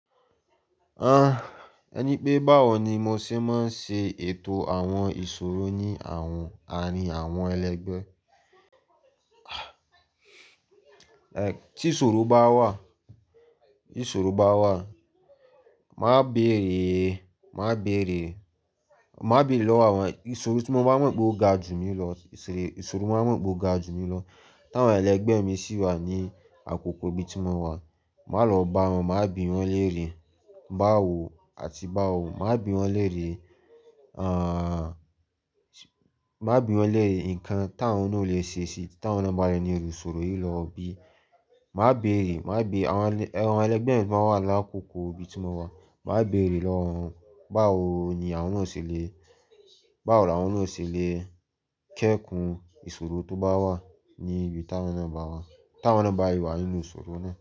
Ah, ẹ ní pé báwo ni mo ṣe máa ń ṣe ètò àwọn ìṣòro ní àwọn àárín àwọn ẹlẹgbẹ́? Eh, tí ìṣòro bá wà, Tí ìṣòro bá wà, màá béèrè, màá béèrè, màá béèrè lọ́wọ́ àwọn ìṣòro tí mo bá mọ̀ pé ó ga ju mi lọ, ìṣòro, ìṣòro tí mo bá mọ̀ pé ó ga ju mi lọ. Tí àwọn ẹlẹgbẹ́ mi sì wà ní àkókò ibi tí mo wà, màá lọ bá wọn, màá bi wọn léèrè báwo àti báwo, màá bi wọn léèrè, ah, màá bi wọn léèrè nǹkan tí àwọn náà lè ṣe síi tí àwọn náà bá rí inú ìṣòro yìí lọ bí. Màá béèrè, màá béèrè àwọn ẹlẹgbẹ́ mi tó bá wà ní àkókò ibi tí mo wà, màá béèrè lọ́wọ́ wọn báwo ni àwọn náà ṣe lè, báwo ni àwọn náà ṣe lè kẹ́kùn ìṣòro tó bá wà ní ibi tí àwọn náà bá wà, tí àwọn náà bá rí wa nínú ìṣòro náà.